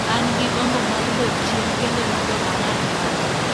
an gi gombo mar dok chien kendo mondo ang'ad paro’